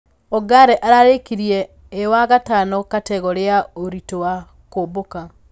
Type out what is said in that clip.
Ongare ararekirie ĩ wa gatano kategore ya ũritũ wa kuombũka.